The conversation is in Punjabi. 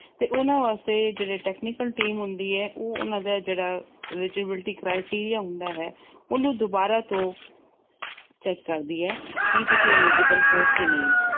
ਤੇ ਉਹਨਾਂ ਵਾਸਤੇ ਜਿਹੜੀ technical team ਹੁੰਦੀ ਆ, ਉਹਨਾਂ ਦਾ ਜਿਹੜਾ eligibility criteria ਹੁੰਦਾ ਹੈ, ਉਹਨੂੰ ਦੁਬਾਰਾ ਤੋਂ check ਕਰਦੀ ਆ ਕਿ ਤੁਸੀਂ eligible ਹੋ ਜਾਂ ਨਹੀਂ।